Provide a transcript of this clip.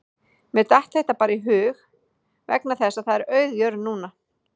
Mér datt þetta bara í hug vegna þess að það er auð jörð núna